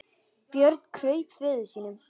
Björn kraup föður sínum.